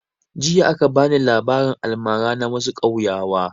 Jiya aka bani labarin almara na wassu kauyawa